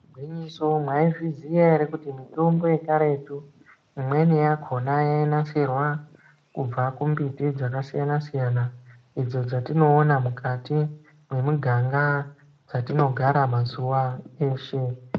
Igwinyiso mwaizviziya ere kuti mitombo yekaretu imweni yakona yainasirwa kubva kumbiti dzakasiyana siyana idzo dzatinoona mukati mwemiganga dzatinogara mazuwa eshe.